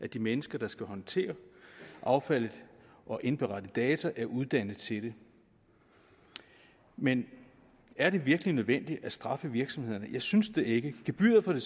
at de mennesker der skal håndtere affaldet og indberette data er uddannet til det men er det virkelig nødvendigt at straffe virksomhederne jeg synes det ikke gebyret for